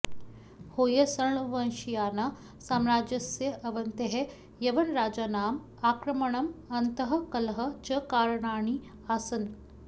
होय्सळवंशीयाना साम्राज्यस्य अवनतेः यवनराजानाम् आक्रमणम् अन्तःकलहः च कारणानि आसन्